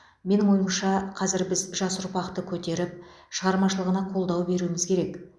менің ойымша қазір біз жас ұрпақты көтеріп шығармашылығына қолдау беруіміз керек